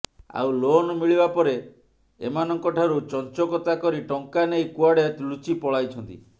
ଆଉ ଲୋନ ମିଳିବାପରେ ଏମାନଙ୍କଠାରୁ ଚଂଚକତା କରି ଟଂକା ନେଇ କୁଆଡେ ଲୁଚି ପଳାଇଛନ୍ତି